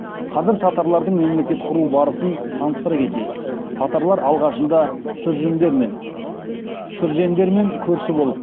қазір татарлардың мемлекет құру барысын таныстыра кетейік татарлар алғашында шүржендермен көрші болып